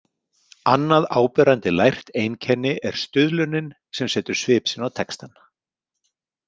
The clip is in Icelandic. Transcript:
Annað áberandi lært einkenni er stuðlunin sem setur svip sinn á textann .